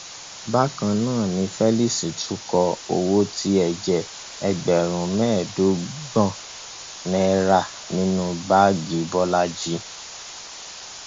bákan náà ni felix tún kó owó tíye e jẹ ẹgbẹrún mẹẹẹdọgbọn náírà nínú báàgì bọlajì